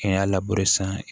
K'i y'a labure sisan